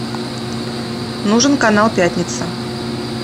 нужен канал пятница